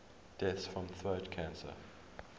deaths from throat cancer